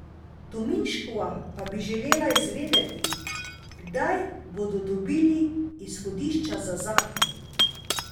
Tominškova pa bi želela izvedeti, kdaj bodo dobili izhodišča za zakon.